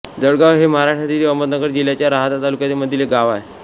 जळगाव हे महाराष्ट्रातील अहमदनगर जिल्ह्याच्या राहाता तालुक्यामधील गाव आहे